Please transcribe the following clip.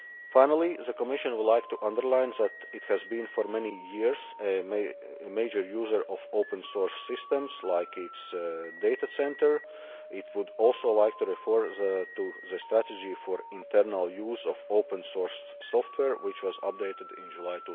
Finally, the Commission would like to underline that it has been for many years a major user of open source systems, for example its data centre. It would also like to refer to the strategy for internal use of Open Source Software, which was updated in